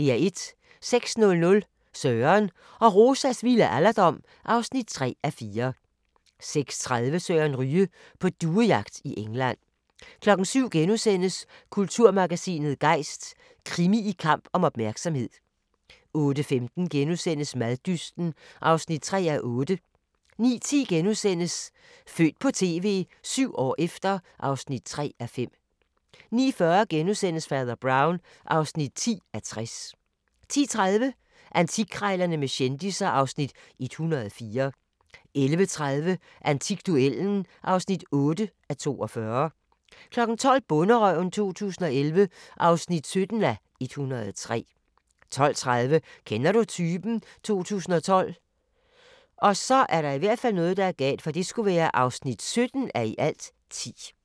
06:00: Søren og Rosas vilde alderdom (3:4) 06:30: Søren Ryge: På duejagt i England 07:00: Kulturmagasinet Gejst: Krimi i kamp om opmærksomhed * 08:15: Maddysten (3:8)* 09:10: Født på TV - 7 år efter (3:5)* 09:40: Fader Brown (10:60)* 10:30: Antikkrejlerne med kendisser (Afs. 104) 11:30: Antikduellen (8:42) 12:00: Bonderøven 2011 (17:103) 12:30: Kender du typen? 2012 (17:10)